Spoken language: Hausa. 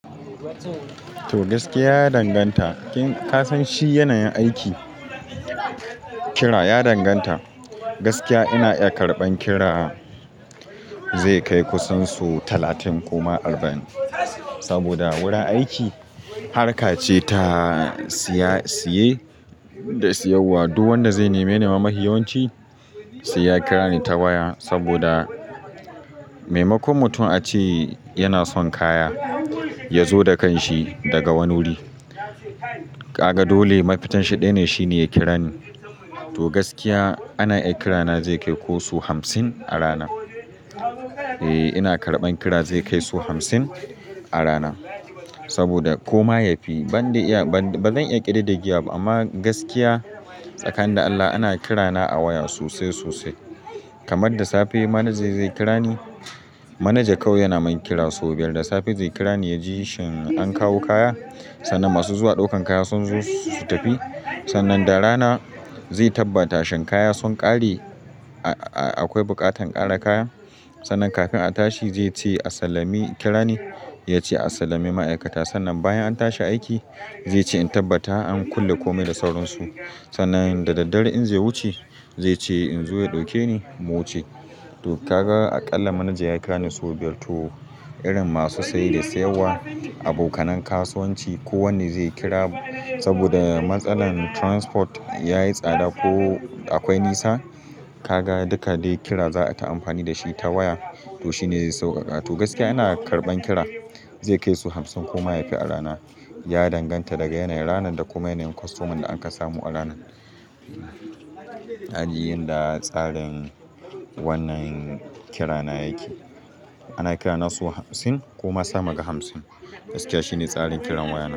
To, gaskiya ya danganta. Kin-- ka san shi yana yin aiki, kira ya danganta. Gaskiya ina iya karɓan kira zai kai kusan su talatin ko ma arba'in. Saboda wurin aiki harka ce ta siya, siye da siyarwa. Duk wanda zai neme-neme ma niyyar wanci, sai ya kira ni ta waya saboda maimakon mutum a ce yana son kaya ya zo da kanshi daga wani wuri. Kaga dole mafitan shi ɗaya ne shine ya kira ni. To, gaskiya ana iya kira na zai kai ko su hamsin a rana. Eh, ina karɓan kira zai kai su hamsin a rana. Saboda ko ma yafi banni iya, ba zan iya ƙididdigewa ba amma gaskiya tsakanin da Allah ana kira na a waya sosai, sosai. Kamar da safe manaja zai kira ni. Manaja kau yana min kira sau biyar da safe zai kira ni ya ji shin an kawo kaya. Sannan masu zuwa ɗaukan kaya sun zo su tafi. Sannan da rana zai tabbata shin kaya sun ƙare a-a-a akwai buƙatan ƙara kaya. Sannan kafin a tashi zai ce a sallami kira ni. Ya ce a sallame ma'aikata. Sannan bayan an tashi aiki zai ce in tabbata an kulle kome da sauransu. Sannan da daddare in zai wuce zai ce in zo ya ɗauke ni mu wuce. To, ka ga aƙalla manaja ya kira ni sau biyar. To, irin masu saye da siyarwa, abokanan kasuwanci ko wanne zai kira saboda matsalar transport ya yi tsada ko akwai nisa. Kaga duka dai kira za a ta amfani da shi ta waya. To, shi ne zai sauƙaƙa. To, gaskiya ina karɓan kira zai kai su hamsin ko ma yafi a rana. Ya danganta daga yanayin ranar, da kuma yanayin kostoman da an ka samu a rana. A ji inda tsarin wannan kira na yake. Ana kira na su hamsin ko ma sama ga hamsin. Gaskiya shi ne tsarin kiran waya.